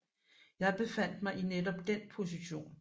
Jeg befandt mig i netop den position